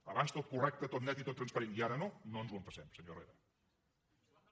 abans tot correcte tot net i tot transparent i ara no no ens ho empassem senyor herrera